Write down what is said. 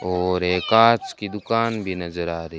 और एक कांच की दुकान भी नजर आ रही--